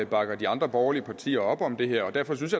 bakker de andre borgerlige partier op om det her og derfor synes